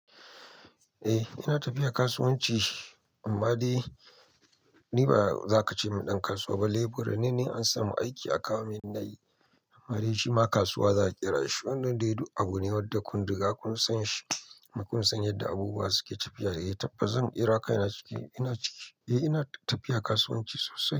Eh ina tafiya kasuwanci amma dai ni ba za ka ce ni ɗan kasuwa ba, laburai ne an samu aiki a kawo min nayi wani shima kasuwa za kira shi, wannan dai duk abun ne wadda kun riga kun san shi kuma kun san yadda abubuwa su ke tafiya. Eh tabbas zan kira kai na ciki, ina ciki. Eh ina tafiya kasuwanci sosai.